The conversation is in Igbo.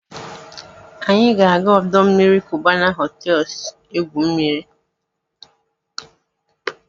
Anyị ga-aga ọdọ mmiri Cubana hotels egwu mmiri.